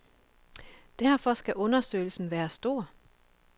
Derfor skal undersøgelsen være stor.